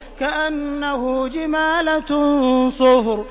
كَأَنَّهُ جِمَالَتٌ صُفْرٌ